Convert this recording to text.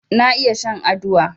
Na iya shan aduwa